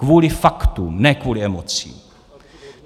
Kvůli faktům, ne kvůli emocím.